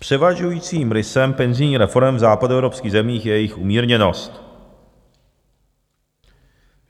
Převažujícím rysem penzijních reforem v západoevropských zemích je jejich umírněnost.